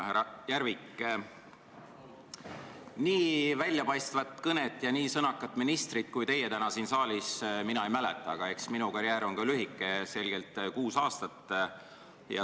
Härra Järvik, nii väljapaistvat kõnet ja nii sõnakat ministrit kui teie täna siin saalis mina ei mäleta, aga eks minu karjäär ole ka lühike, kuus aastat.